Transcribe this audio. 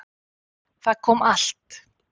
Það kom allt